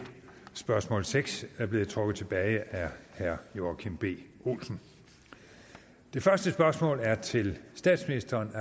spørgsmål nummer seks er blevet trukket tilbage af herre joachim b olsen det første spørgsmål er til statsministeren